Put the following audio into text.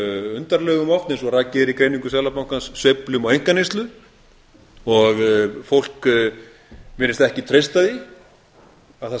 undarlegum oft eins og rakið er í greiningu seðlabankans sveiflum á einkaneyslu og fólk virðist ekki treysta því að það